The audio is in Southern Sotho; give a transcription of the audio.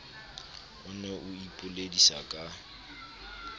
o ne o ipoledisa ka